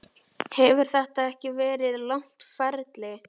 Hefur þetta ekki verið langt ferli?